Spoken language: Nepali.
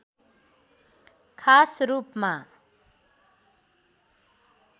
खास रूपमा